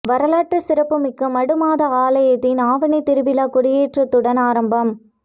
வரலாற்றுச் சிறப்பு மிக்க மடுமாதா ஆலயத்தின் ஆவணித் திருவிழா கொடியேற்றத்துடன் ஆரம்பம்